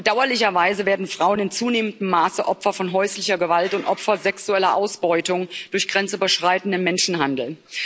Bedauerlicherweise werden Frauen in zunehmendem Maße Opfer von häuslicher Gewalt und Opfer sexueller Ausbeutung durch grenzüberschreitenden Menschenhandel.